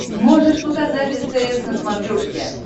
можешь показать стс на смотрешке